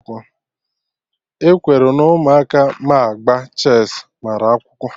E kwere na Ụmụaka ma agba chess mara akwụkwọ